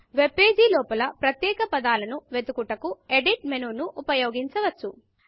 webpage లోపల ప్రత్యేక పదాలను వెదుకుటకు Editఎడిట్ మెనూను ఉపయోగించవచ్చు